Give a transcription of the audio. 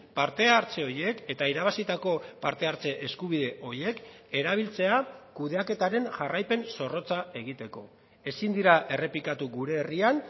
parte hartze horiek eta irabazitako parte hartze eskubide horiek erabiltzea kudeaketaren jarraipen zorrotza egiteko ezin dira errepikatu gure herrian